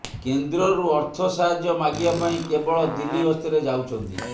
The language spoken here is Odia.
କେନ୍ଦ୍ରରୁ ଅର୍ଥ ସାହାଯ୍ୟ ମାଗିବା ପାଇଁ କେବଳ ଦିଲ୍ଲୀ ଗସ୍ତରେ ଯାଉଛନ୍ତି